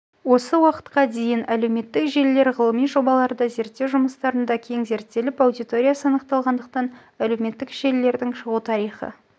осы уақытқа дейін әлеуметтік желілер ғылыми жобаларда зерттеу жұмыстарында кең зерттеліп аудиториясы анықталғандықтан әлеуметтік желілердің шығу тарихы